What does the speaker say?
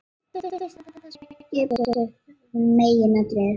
Undirstaðan, það sem verkið er byggt upp af, var meginatriðið.